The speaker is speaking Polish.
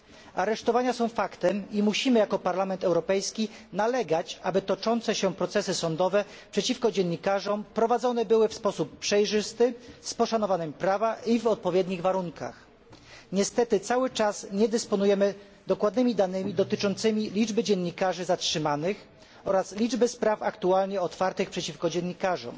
Aresztowania są faktem i jako Parlament Europejski musimy nalegać, aby toczące się przeciwko dziennikarzom procesy sądowe były prowadzone w sposób przejrzysty, z poszanowaniem prawa i w odpowiednich warunkach. Niestety cały czas nie dysponujemy dokładnymi danymi dotyczącymi liczby dziennikarzy zatrzymanych oraz liczby spraw aktualnie otwartych przeciwko dziennikarzom.